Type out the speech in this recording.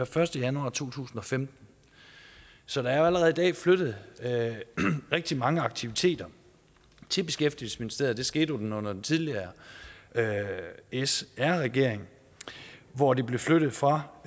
første januar to tusind og femten så der er jo allerede i dag flyttet rigtig mange aktiviteter til beskæftigelsesministeriet og det skete under den tidligere sr regering hvor de blev flyttet fra